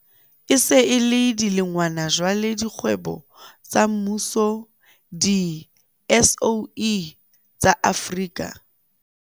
E se e le dilengwana jwale dikgwebo tsa mmuso di-SOE, tsa Afrika